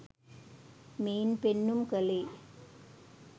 මෙයින් පෙන්නුම් කළේ